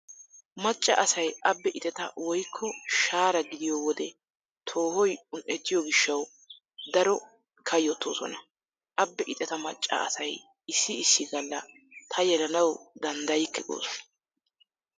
Macca asay abbe ixeta woykko shahaara gidiyo wode toohoy un"ettiyo gishshawu daro kayyottoosona. Abbe ixeta macca asay issi issi Galla " ta yelanawu danddayikke" goosona.